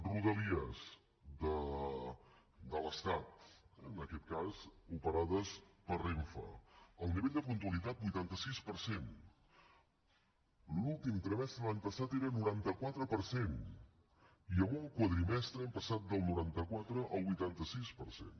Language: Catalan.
rodalies de l’estat en aquest cas operades per renfe el nivell de puntualitat vuitanta sis per cent l’últim trimestre de l’any passat era noranta quatre per cent i en un quadrimestre hem passat del noranta quatre al vuitanta sis per cent